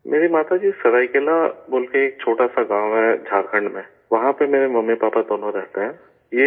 میری ماتا جی، سرائیکیلا بول کر ایک چھوٹا سا گاؤں ہے جھارکھنڈ میں، وہاں پر میرے ممی پاپا دونوں رہتے ہیں